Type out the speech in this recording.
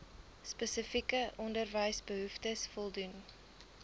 spesifieke onderwysbehoeftes voldoen